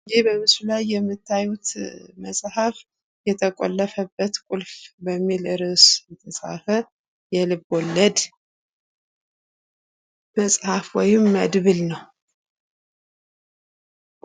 ይህ በምስሉ ላይ የምታዩት መፃህፍ የተቆለፈበት ቁልፍ በሚል ርዕስ የተፃፈ የልብ ወለድ መፃህፍ ወይም መድብል ነው።